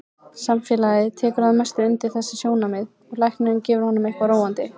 Samfélagið tekur að mestu undir þessi sjónarmið og læknirinn gefur honum eitthvað róandi.